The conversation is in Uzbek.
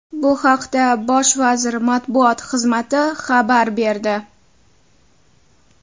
Bu haqda Bosh vazir matbuot xizmati xabar berdi .